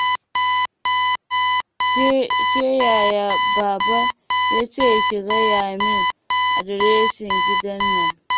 Ke Yaya baba ya ce ki gaya min adireshin gidan nan.